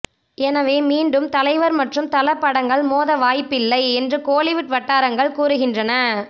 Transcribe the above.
எனவே மீண்டும் தலைவர் மற்றும் தல படங்கள் மோத வாய்ப்பில்லை என்று கோலிவுட் வட்டாரங்கள் கூறுகின்றன